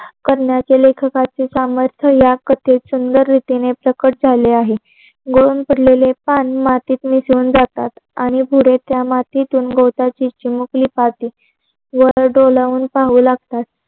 करण्याचे लेखकाचे सामर्थ्य या कथेत सुंदर रीतीने प्रकट झाले आहे. गळून पडलेले पान मतीत मिसळून जातात आणि पुरे त्या मतून मिसळून गवताची पाती वर डोळाऊन पाहू लागतात.